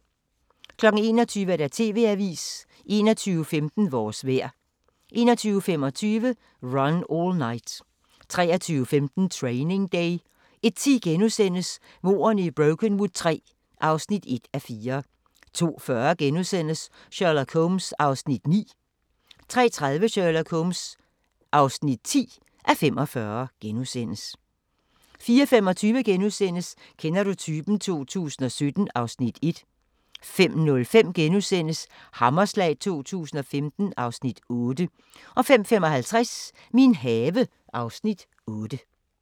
21:15: Vores vejr 21:25: Run All Night 23:15: Training Day 01:10: Mordene i Brokenwood III (1:4)* 02:40: Sherlock Holmes (9:45)* 03:30: Sherlock Holmes (10:45)* 04:25: Kender du typen? 2017 (Afs. 1)* 05:05: Hammerslag 2015 (Afs. 8)* 05:55: Min have (Afs. 8)